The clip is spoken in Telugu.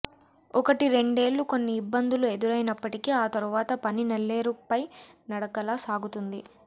ఒకటి రెండేళ్లు కొన్ని ఇబ్బందులు ఎదురైనప్పటికీ ఆ తరువాత పని నల్లేరుపై నడకలా సాగుతుంది